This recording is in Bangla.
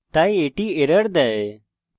তাই এটি একটি error দেয়